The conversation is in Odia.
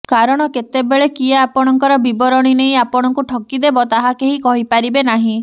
କାରଣ କେତେବେଳେ କିଏ ଆପଣଙ୍କର ବିବରଣୀ ନେଇ ଆପଣଙ୍କୁ ଠକି ଦେବ ତାହା କେହି କହି ପାରିବେ ନାହିଁ